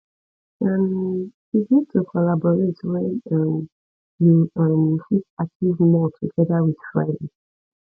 um e good to collaborate when um you um fit achieve more together with friends